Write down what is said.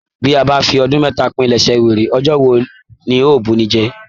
Bi a bá fi ọdún mẹta pìlẹ̀sẹ̀ wèrè, ọjọ́ wò la o bunijẹ.